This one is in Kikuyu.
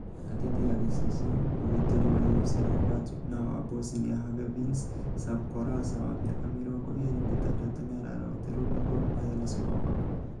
(Ngathĩti ya Gĩcicio)Mũgiteri wa AFC Leopards na wa Bosnia-Herzegovins Sam Kolasa, wa mĩaka mĩrongo ĩrĩ na ĩtandatũ, nĩ araroteruo ni Gor Mahia na Sofapaka.